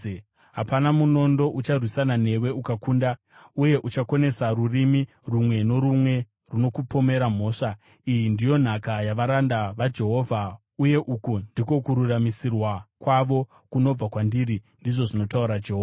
hapana munondo ucharwisana newe ukakunda, uye uchakonesa rurimi rumwe norumwe runokupomera mhosva. Iyi ndiyo nhaka yavaranda vaJehovha, uye uku ndiko kururamisirwa kwavo kunobva kwandiri,” ndizvo zvinotaura Jehovha.